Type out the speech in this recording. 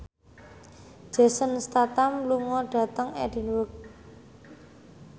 Jason Statham lunga dhateng Edinburgh